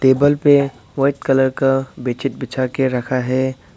Table पे white colour का bedsheet बिछा के रखा है।